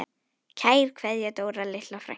Kær kveðja, Dóra litla frænka.